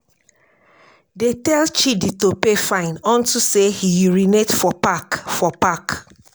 dey tell chidi to pay fine unto say he urinate for park for park